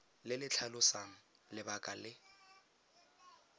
le le tlhalosang lebaka le